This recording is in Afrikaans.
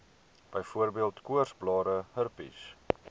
byvoorbeeld koorsblare herpes